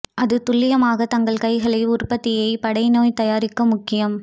அது துல்லியமாக தங்கள் கைகளை உற்பத்தியைத் படை நோய் தயாரிக்க முக்கியம்